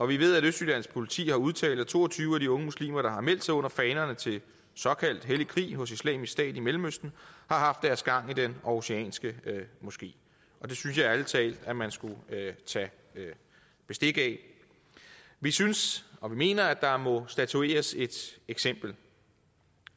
vi ved at østjyllands politi har udtalt at to og tyve af de unge muslimer der har meldt sig under fanerne til såkaldt hellig krig hos islamisk stat i mellemøsten har haft deres gang i den aarhusianske moské det synes jeg ærlig talt at man skulle tage bestik af vi synes og vi mener at der må statueres et eksempel